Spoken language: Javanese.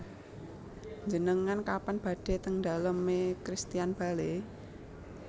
Njenengan kapan badhe teng dalem e Christian Bale?